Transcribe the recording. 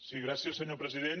sí gràcies senyor president